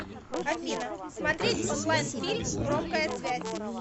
афина смотреть онлайн фильм громкая связь